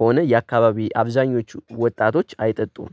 ሆነ የአካባቢ አብዛኞቹ ወጣቶች አይጠጡም